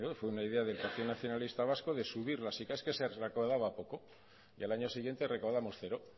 fue una idea del partido nacionalista vasco de subir las sicav que se recaudaba poco y al año siguiente recaudamos cero